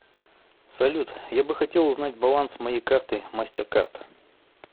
салют я бы хотел узнать баланс моей карты мастеркард